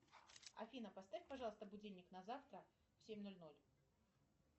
афина поставь пожалуйста будильник на завтра в семь ноль ноль